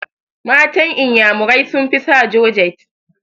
Matan inyamurai sun fi sa jorjet